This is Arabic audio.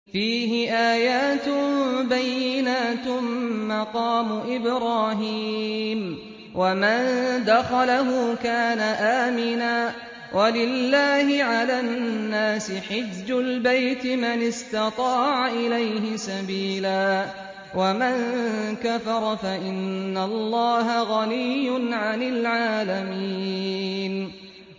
فِيهِ آيَاتٌ بَيِّنَاتٌ مَّقَامُ إِبْرَاهِيمَ ۖ وَمَن دَخَلَهُ كَانَ آمِنًا ۗ وَلِلَّهِ عَلَى النَّاسِ حِجُّ الْبَيْتِ مَنِ اسْتَطَاعَ إِلَيْهِ سَبِيلًا ۚ وَمَن كَفَرَ فَإِنَّ اللَّهَ غَنِيٌّ عَنِ الْعَالَمِينَ